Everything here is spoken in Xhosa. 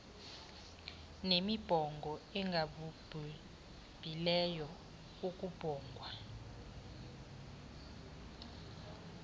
nemibongo engababhubhileyo ekubongwa